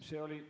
See oli ...